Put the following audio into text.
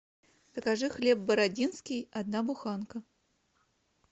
закажи хлеб бородинский одна буханка